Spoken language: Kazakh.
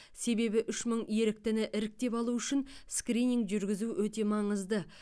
себебі үш мың еріктіні іріктеп алу үшін скрининг жүргізу өте маңызды